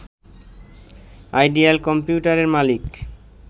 ideal কম্পিউটারের মালিক